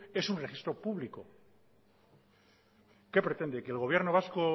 es un registro público qué pretende que el gobierno vasco